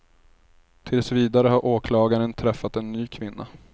Tills vidare har åklagaren träffat en ny kvinna.